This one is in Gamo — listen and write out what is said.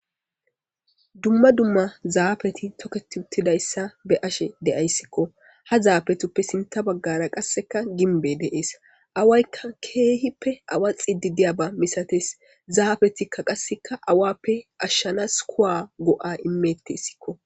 Dumma dumma zaafeti toketi uttidayssa b'ashe deyayssikqo ha zaafetuppe sinta baggara qasseka gimbe deees awaykka keehippe awaxidi diyaga misates zaafetikka qasseka awappe ashshanas kuwa go7a imetteyssikko.